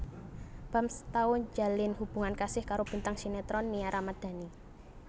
Bams tau njalin hubungan kasih karo bintang sinetron Nia Ramandhani